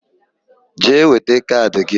Jee weta kaadị gị!